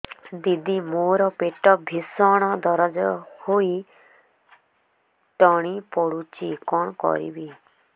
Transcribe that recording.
ଦିଦି ମୋର ପେଟ ଭୀଷଣ ଦରଜ ହୋଇ ତଣ୍ଟି ପୋଡୁଛି କଣ କରିବି